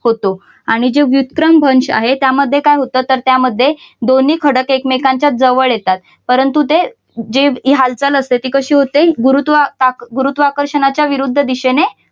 होतो आणि जे विक्रम भ्रंश आहे त्यामध्ये काय होतं तर त्यामध्ये दोन्ही खडक एकमेकांच्या जवळ येतात परंतु जे हि हालचाल असते ती कशी होते गुरुत्वाकर्षणाच्या विरुद्ध दिशेने